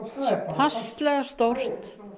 passlega stór